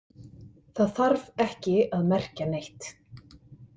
Það þarf ekki að merkja neitt.